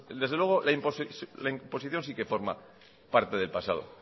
desde luego la imposición sí que forma parte del pasado